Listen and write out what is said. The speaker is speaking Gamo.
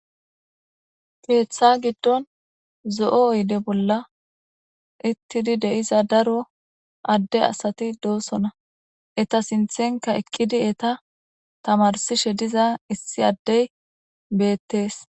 keeththa giddon zo7o oyde bolla utidi deiza daro adde asati doosona eta sinthenka eqqidi eta tamarsishe diza issi addey beettees